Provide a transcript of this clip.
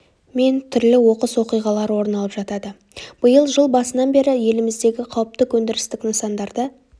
мен түрлі оқыс оқиғалар орын алып жатады биыл жыл басынан бері еліміздегі қауіпті өндірістік нысандарда